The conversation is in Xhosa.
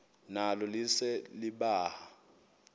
nalo lise libaha